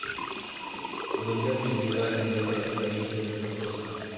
Röntgen सोढीला यंदाचा राजीव गांधी खेलरत्न पुरस्कार